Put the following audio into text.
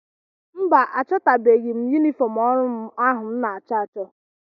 Mba, achọtabeghị m yunifọm ọrụ m ahụ m na-achọ achọ